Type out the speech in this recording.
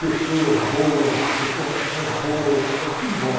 Pessoas boas, recordações boas, é tudo bom.